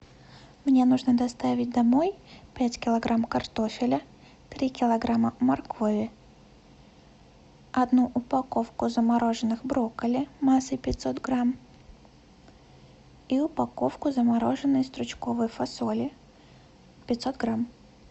мне нужно доставить домой пять килограмм картофеля три килограмма моркови одну упаковку замороженных брокколи массой пятьсот грамм и упаковку замороженной стручковой фасоли пятьсот грамм